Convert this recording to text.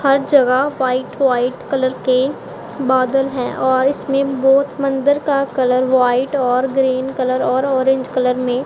हर जगह white white colour के बादल है और इसमें बहोत मंदिर का कलर व्हाइट और ग्रीन कलर और ऑरेंज कलर में--